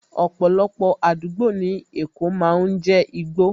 Ọ̀pọ̀lọpọ̀ àdúgbò ní èkó máa ń jé igbó